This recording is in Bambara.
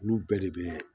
Olu bɛɛ de bɛ